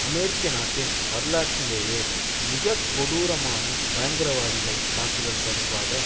அமெரிக்க நாட்டின் வரலாற்றிலேயே மிக கொடூரமான பயங்கரவாதிகள் தாக்குதல் தொடர்பாக